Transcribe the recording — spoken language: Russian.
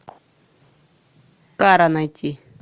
кара найти